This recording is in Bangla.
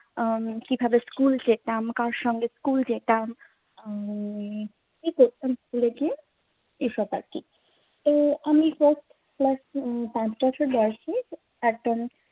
উম কিভাবে school যেতাম? কার সঙ্গে school যেতাম? উম কি করতাম school গিয়ে এসব আরকি। তো আমি পাঁচ বছর বয়েসে একদম